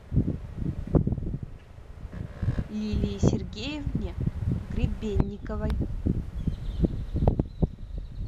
лилии сергеевне гребенниковой